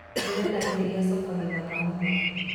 ndĩrenda gĩtĩ kĩa sofa kĩthaka mũno.